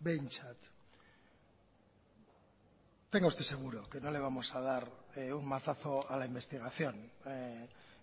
behintzat tenga usted seguro que no le vamos a dar un mazazo a la investigación